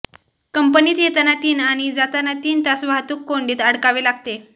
कंपनीत येताना तीन आणि जाताना तीन तास वाहतूक कोंडीत अडकावे लागते